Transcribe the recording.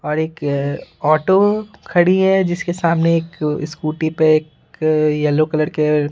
और एक -- ऑटो खड़ी है जिसके सामने एक स्कूटी पे एक येलो कलर के --